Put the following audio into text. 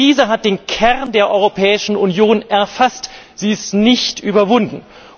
Die Krise hat den Kern der Europäischen Union erfasst, sie ist nicht überwunden.